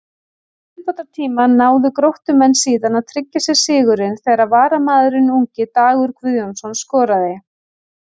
Í viðbótartíma náðu Gróttumenn síðan að tryggja sér sigurinn þegar varamaðurinn ungi Dagur Guðjónsson skoraði.